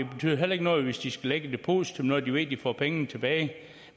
betyder heller ikke noget hvis de skal lægge et depositum når de ved at de får pengene tilbage